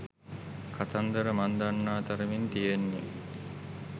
කතන්දර මං දන්නා තරමින් තියෙන්නේ